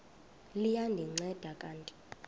liya ndinceda kanti